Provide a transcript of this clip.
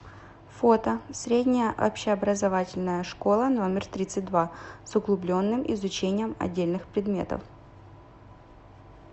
фото средняя общеобразовательная школа номер тридцать два с углубленным изучением отдельных предметов